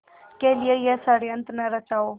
के लिए यह षड़यंत्र न रचा हो